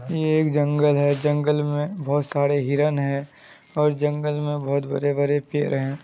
ये एक जंगल है जंगल में बहुत सारे हिरण है और जंगल में बहुत बड़े-बड़े पेड़ है।